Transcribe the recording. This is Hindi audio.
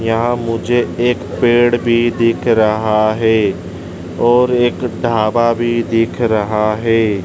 यहां मुझे एक पेड़ भी दिख रहा है और एक ढाबा भी दिख रहा है।